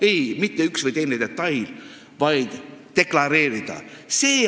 Ei, mitte üks või teine detail, vaid hukkamõistu deklareerida.